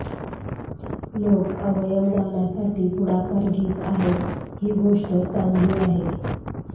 लोकं अवयवदानासाठी पुढाकार घेत आहेत ही गोष्ट चांगली आहे